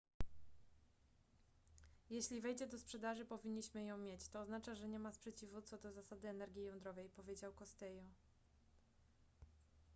jeśli wejdzie do sprzedaży powinniśmy ją mieć to oznacza że nie ma sprzeciwu co do zasady energii jądrowej powiedział costello